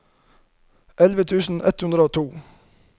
elleve tusen ett hundre og to